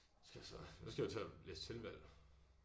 Skal jeg så så skal jeg jo til at læse tilvalg